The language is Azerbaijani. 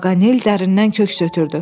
Paqanel dərindən köks ötrürdü.